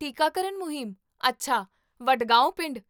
ਟੀਕਾਕਰਨ ਮੁਹਿੰਮ, ਅੱਛਾ, ਵਡਗਾਓਂ ਪਿੰਡ